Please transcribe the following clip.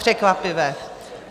Překvapivé.